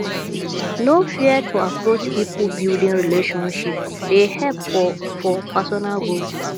no fear to approach people building relationships dey help for for personal growth